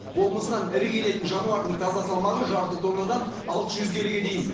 болмысынан ірі келетін жануардың таза салмағы жарты тоннадан алты жүз келіге дейін